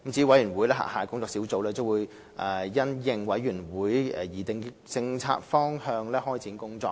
委員會轄下的工作小組將因應委員會擬定的政策方向開展工作。